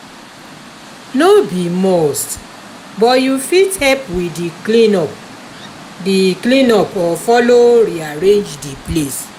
no be must but you fit help with di clean up di clean up or follow rearrange the place